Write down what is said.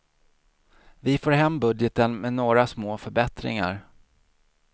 Vi får hem budgeten med några små förbättringar.